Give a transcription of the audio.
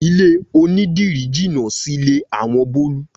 Ilé onídìrí jínà sílé àwọn Bólú.